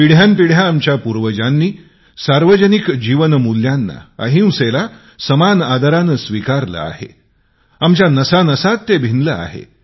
पिढ्यानपिढ्या आमच्या पूर्वजांनी सार्वजनिक जीवन मूल्यांना अहिंसेला समान आदराने स्वीकार केले आहे आमच्या नसानसात ते भिनले आहे